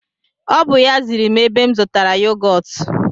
O bụ ya ziri m ebe m zụtara yogọtu